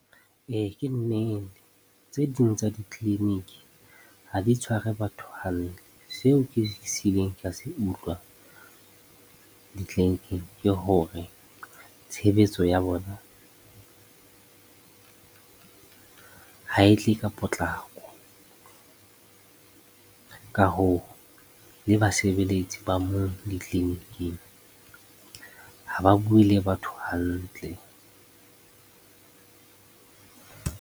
Ee, ke nnete. Tse ding tsa ditleliniki ha di tshware batho hantle. Seo ke se ka se utlwa ditleliniking ke hore tshebetso ya bona ha e tle ka potlako. Ka hoo, le basebeletsi ba moo ditleliniking ha ba bue le batho hantle.